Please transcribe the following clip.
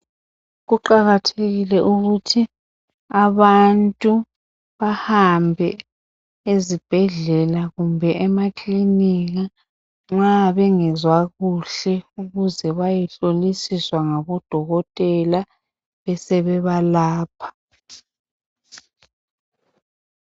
Kuqakathekile ukuthi abantu bahambe ezibhedlela kumbe emaklinika nxa bengezwa kuhke ukuze bayehlolisiswa ngabo dokotela besebebalapha